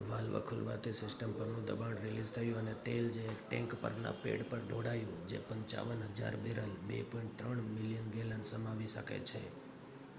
valve ખૂલવાથી system પરનું દબાણ રિલીઝ થયું અને તેલ એ ટૅંક પરના પૅડ પર ઢોળાયું જે 55,000 બૅરલ 2.3 મિલિયન ગૅલન સમાવી શકે છે